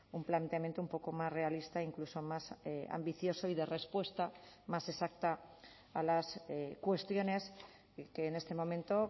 un planteamiento un poco más realista incluso más ambicioso y dé respuesta más exacta a las cuestiones que en este momento